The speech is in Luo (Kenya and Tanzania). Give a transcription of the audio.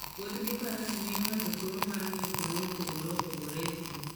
Wuoth gi faras miyo ng'ato thuolo mar ng'iyo kuonde mopogore opogore e thim.